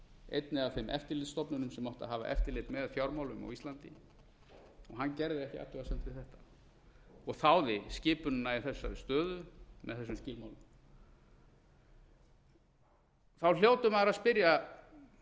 einni af þeim eftirlitsstofnunum sem átti að hafa eftirlit með fjármálum á íslandi og hann gerði ekki athugasemd við þetta og þáði skipunina í þessari stöðu með þessum skilmálum þá hlýtur maður að spyrja